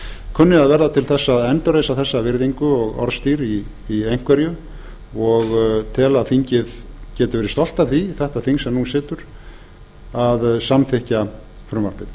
kunni að verða til þess að endurreisa þessa virðingu og orðstír í einhverju og tel að þingið geti verið stolt af því þetta þing sem nú situr að samþykkja frumvarpið